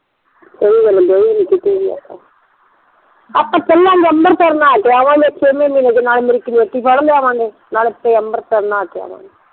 ਓ ਆਪਾਂ ਚਲਾਂਗੇ ਅੰਮ੍ਰਿਤਸਰ ਨਹਾ ਕੇ ਆਵਣਗੇ ਛੇ ਮਹੇਨੇ ਨਾਲੇ ਮੇਰੀ ਕਮੇਟੀ ਫੜ ਲਿਆਵਾਂਗੇ ਨਾਲੇ ਅਮ੍ਰਿਤਸਰ ਨਹਾ ਕੇ ਆਵਣਗੇ